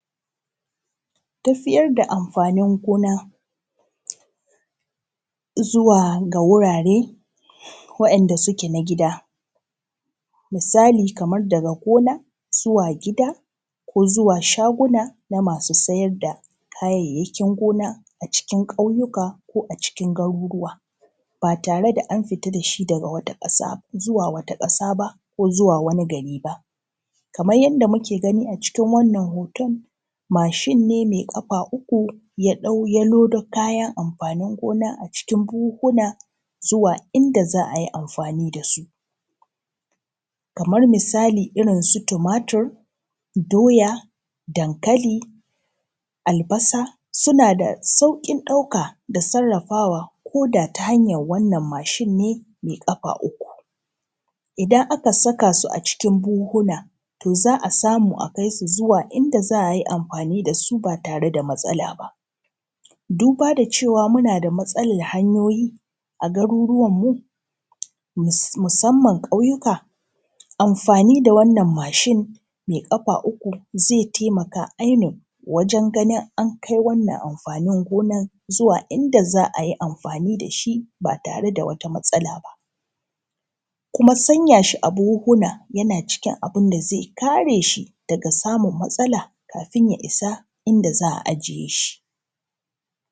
tafiyar da amfanin gona zuwa ga wurare waɗanda suke na gida misali kamar daga gona zuwa gida ko zuwa shaguna na masu siyar da kayayyakin gona cikin kauyuka ko a cikin garuruwa ba tare da an fita da shi daga wata ƙasaa zuwa wata ƙasa ba ko zuwa wani gari ba kamar yadda muke gani acikin wannan hoton mashin ne mai ƙafa uku ya lodo kayan amfanin gona acikin buhuhuna zuwa inda za a yi amfani da su kamar misali irinsu tumatur doya dankali albasa suna da sauƙin ɗauka da sarrafawa ko da ta hanyan wannan mashin ne mai ƙafa uku idan aka saka su acikin buhuhuna to za a samu a kai su inda za aji amfani da suba tare da matsala ba duba da cewa muna da matsalar hanyoyi a garuruwanmu musamman ƙauyuka amfani da wannan mashin mai ƙafa uku zai tamaka ainun wajen ganin an kai wannan amfanin gonan zuwa inda za ayi amfani da shi ba tare da wata matsala ba kuma sanyi shi acikin buhuhun yana cikin abin da zai ƙare shi daga samun matsala kafin a isa inda za a ajiye shi